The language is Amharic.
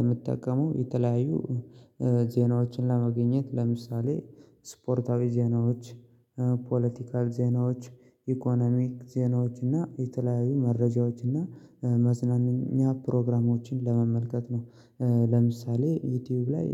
የምትጠቀመው የተለያዩ ዜናዎችን ለማገኘት ለምሳሌ ስፖርታዊ ዜናዎች ፖለቲካዊ ዜናዎች ኢኮኖሚክ ዜናዎች እና የተለዩዪ መረጃዎች እና መዝናኛ ፕሮግራሞችን ለመመልከት ነው። ለምሳሌ ዩቲዩብ ላይ